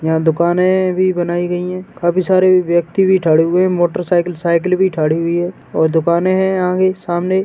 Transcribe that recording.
यहाँ दुकाने भी बनाई गईं हैं। काफ़ी सारे व्यक्ति भी थड़े हुए हैं। मोटरसाइकिल साइकिल भी थडी हुई है और दुकाने हैं आंगे सामने।